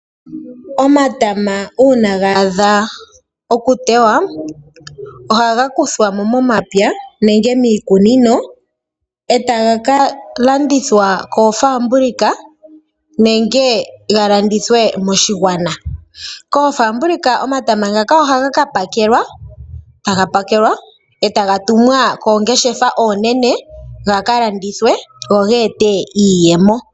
Omatama una ga adha oku tewa, ohaga kuthwamo momapya nemge miikunino etaga kalandithwa koofabulika nenge ga landithwe moshigwana. Koofabulika omatama ngaka ohaga ka pakelwa etaga tumwa koongeshefa oonene gaka landithwe go ge ete iiyemo.